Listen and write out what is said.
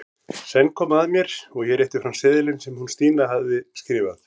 Senn kom að mér og ég rétti fram seðilinn sem hún Stína mín hafði skrifað.